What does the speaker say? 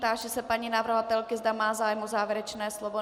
Táži se paní navrhovatelky, zda má zájem o závěrečné slovo.